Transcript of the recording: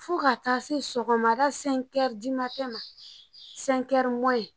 Fɔ ka taa se sɔgɔmada .